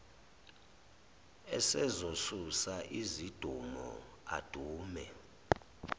esezosusa izidumo adume